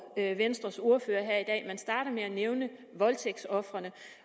venstres ordfører her i dag man starter med at nævne voldtægtsofrene